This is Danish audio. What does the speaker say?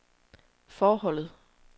forholdet